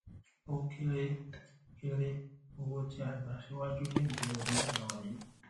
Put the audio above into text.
o kere kere owó tí a gbà síwájú ní ìbẹrẹ ọdún tí a wà yìí